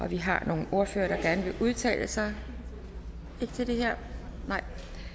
vi har nogle ordførere der gerne vil udtale sig ikke til det her nej